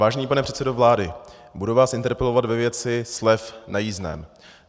Vážený pane předsedo vlády, budu vás interpelovat ve věci slev na jízdném.